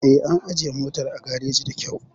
Eh, an ajiye motar a gareji da kyau